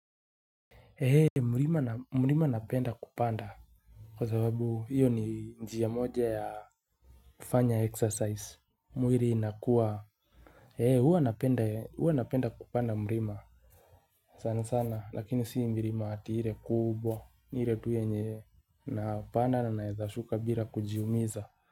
Mlima napenda kupanda kwa sababu hiyo ni njia moja ya kufanya exercise mwili inakuwa huwa napenda kupanda mlima sana sana lakini sio mlima hati ile kubwa ni ile tu yenye napanda na naezashuka bila kujiumiza.